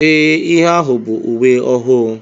Ee ihe ahụ bụ uwe ọhụụ